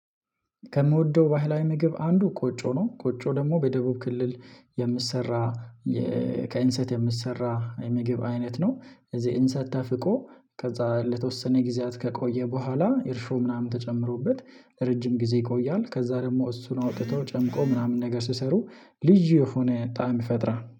ከምወደው ባህላዊ ምግብ አንዱ ቆጮ ነው ቆጮ ደግሞ በደቡብ ክልል የምትሰራ ከኢንሰት የምትሰራ የምግብ አይነት ነው። እዚህ እንሰት ተፍቆ ከዛ ለተወሰነ ጊዜያት ከቆየ በኋላ የእርሾ ምናምን ተጨምሮበት ለረጅም ጊዜ ይቆያል። ከዛ ደግሞ እሱን አውጥቶ ጨምቆ ምናምን ነገር ስሰሩ ልጅ የሆነ ጣዕም ይፈጥራል